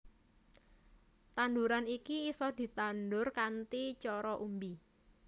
Tanduran iki isa ditandur kanthi cara umbi